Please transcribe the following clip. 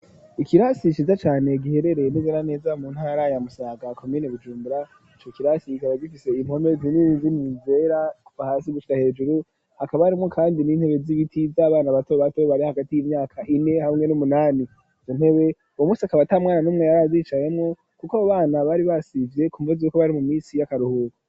Ikirasi ciza cane giherereye neze na neza mu ntara ya Musaga komine Bujumbura ico kirasi kikaba gifise impome zini zini zera kuva hasi gushika hejuru hakaba harimwo kandi n'intebe z'ibiti z'abana bato bato bari hagati y'imyaka ine hamwe n'umunani izo ntebe uwo musi akaba atamwana n'umwe yari azicayemwo kuko abo bana bari basivye kumvo zuko bari mu misi y'akaruhuko.